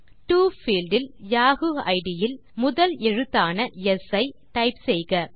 to field இல் Yahoo ID இல் முதல் எழுத்தான ஸ் ஐ டைப் செய்க